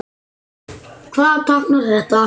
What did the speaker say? Hvað táknar þetta?